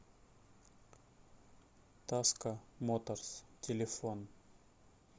таско моторс телефон